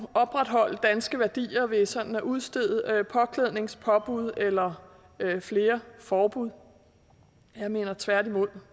opretholde danske værdier ved sådan at udstede påklædningspåbud eller flere forbud tværtimod